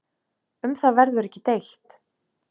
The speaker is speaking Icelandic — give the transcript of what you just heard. Um það verður ekki deilt.